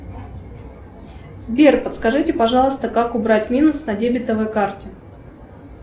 сбер подскажите пожалуйста как убрать минус на дебетовой карте